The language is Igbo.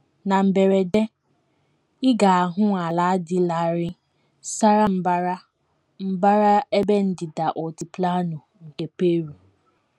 Na mberede, ị ga - ahụ ala dị larịị sara mbara mbara ebe ndịda Altiplano nke Peru.